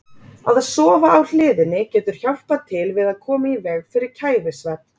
Að sofa á hliðinni getur hjálpað til við að koma í veg fyrir kæfisvefn.